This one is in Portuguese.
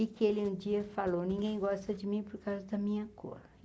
E que ele um dia falou, ninguém gosta de mim por causa da minha cor.